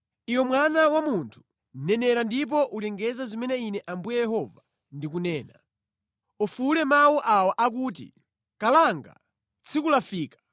“Iwe mwana wa munthu, nenera ndipo ulengeze zimene Ine Ambuye Yehova ndikunena. “ ‘Ufuwule mawu awa akuti, ‘Kalanga, tsiku lafika!’